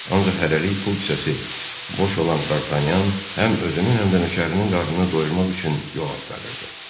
Ancaq hələlik pul kisəsi boş olan Dartanyan həm özünün, həm də nökərinin qarnını doyurmaq üçün yol axtarırdı.